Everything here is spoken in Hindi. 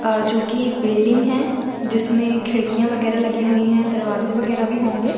अ जोकी एक बिल्डिंग है जिसमें खिड़कियाँ वगैरा लगी हुई है दरवाज़े वगैरा भी होंगे।